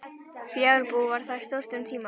Fjárbú var þar stórt um tíma.